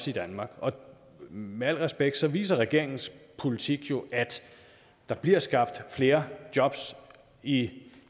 i danmark og med al respekt viser regeringens politik jo at der bliver skabt flere jobs i